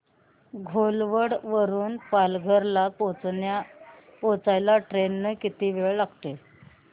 घोलवड वरून पालघर ला पोहचायला ट्रेन ने किती वेळ लागेल